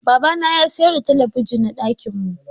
Baba na ya sayar ɗa talabijin na ɗakin mu.